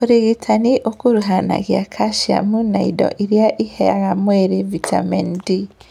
ũrigitani ũkuruhanagia kaciamu na indo irĩa iheaga mwĩrĩ vitameni D